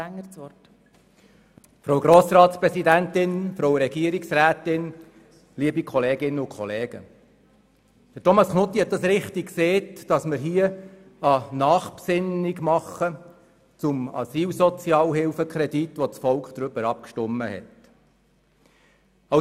Knutti hat richtig gesagt, dass wir hier eine Nachbesinnung zum Asylsozialhilfekredit machen, über den das Volk abgestimmt hat.